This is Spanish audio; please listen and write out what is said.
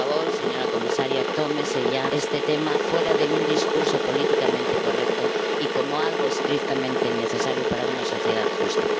Por favor, señora comisaria, no se tome este tema como un discurso políticamente correcto, sino como algo estrictamente necesario para una sociedad justa.